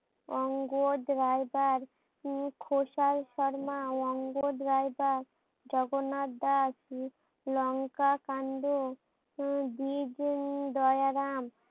অঙ্গদ রাইবার উম খোসায় শর্মা ও অঙ্গদ রাইবার জগন্নাথ দাস লঙ্কা কান্ড উম বিগ দয়ারাম